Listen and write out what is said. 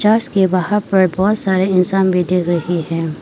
Church के बाहर पर बहुत सारे इंसान भी दिख रहे हैं।